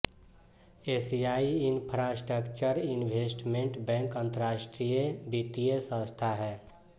एशियाई infrastructure investment bank अंतर्राष्ट्रीय वित्तीय संस्था है